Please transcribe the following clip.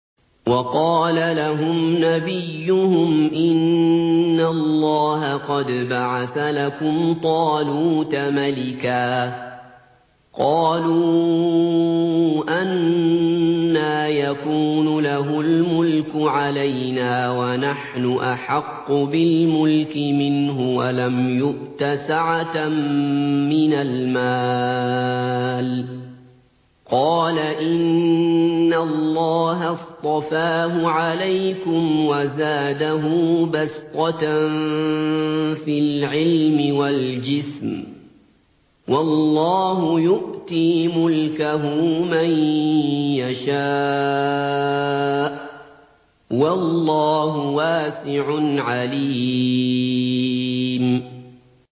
وَقَالَ لَهُمْ نَبِيُّهُمْ إِنَّ اللَّهَ قَدْ بَعَثَ لَكُمْ طَالُوتَ مَلِكًا ۚ قَالُوا أَنَّىٰ يَكُونُ لَهُ الْمُلْكُ عَلَيْنَا وَنَحْنُ أَحَقُّ بِالْمُلْكِ مِنْهُ وَلَمْ يُؤْتَ سَعَةً مِّنَ الْمَالِ ۚ قَالَ إِنَّ اللَّهَ اصْطَفَاهُ عَلَيْكُمْ وَزَادَهُ بَسْطَةً فِي الْعِلْمِ وَالْجِسْمِ ۖ وَاللَّهُ يُؤْتِي مُلْكَهُ مَن يَشَاءُ ۚ وَاللَّهُ وَاسِعٌ عَلِيمٌ